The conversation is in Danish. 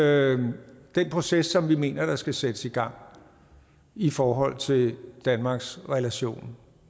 er den proces som vi mener skal sættes i gang i forhold til danmarks relation